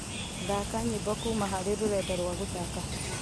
thaka nyimbo kuuma hari rũrenda rwa guthaka